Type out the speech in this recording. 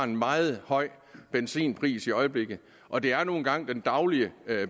en meget høj benzinpris i øjeblikket og det er nu engang den daglige